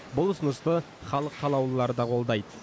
бұл ұсынысты халық қалаулылары да қолдайды